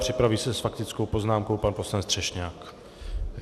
Připraví se s faktickou poznámkou pan poslanec Třešňák.